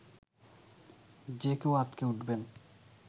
যে কেউ আঁতকে উঠবেন